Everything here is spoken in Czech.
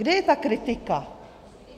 Kde je ta kritika?